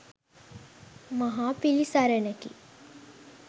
මහා පිළිසරණකි